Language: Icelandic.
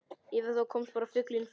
Yfir þá komst bara fuglinn fljúgandi.